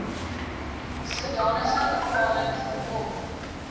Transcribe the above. sodanige bepaling voorkom